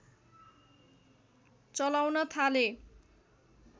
चलाउन थाले